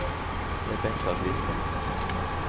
Rebekka Kristensen